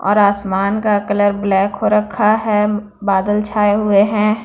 और आसमान का कलर ब्लैक हो रखा है बादल छाए हुए हैं।